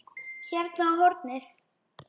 Hérna á hornið.